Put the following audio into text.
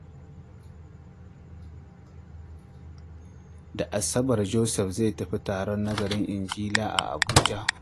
Da Asabar, Joseph zai tafi taron nazarin Injila a Abuja.